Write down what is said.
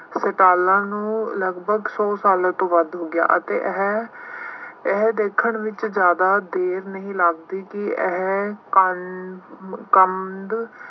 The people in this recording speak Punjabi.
ਸਟਾਲਾਂ ਨੂੰ ਲਗਭਗ ਸੌ ਸਾਲਾਂ ਤੋਂ ਵੱਧ ਹੋ ਗਿਆ ਅਤੇ ਇਹ ਇਹ ਦੇਖਣ ਵਿੱਚ ਜ਼ਿਆਦਾ ਦੇਰ ਨਹੀਂ ਲੱਗਦੀ ਕਿ ਇਹ ਮੁਕੰਦ